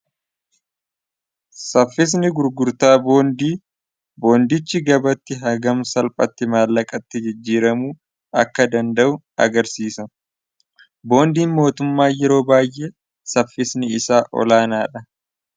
saffisni gurgurtaa boondii, boondichi gabatti hagam salphatti maallaqatti jijjiiramuu akka danda'u agarsiisa boondiin mootummaa yeroo baay'ee saffisni isaa olaanaa dha.